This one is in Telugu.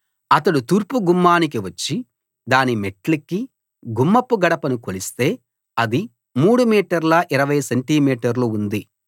అతడు తూర్పు గుమ్మానికి వచ్చి దాని మెట్లెక్కి గుమ్మపు గడపను కొలిస్తే అది 3 మీటర్ల 20 సెంటి మీటర్లు ఉంది